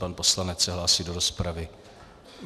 Pan poslanec se hlásí do rozpravy.